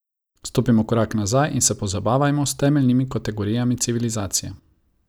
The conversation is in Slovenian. Stopimo korak nazaj in se pozabavajmo s temeljnimi kategorijami civilizacije.